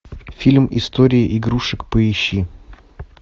фильм истории игрушек поищи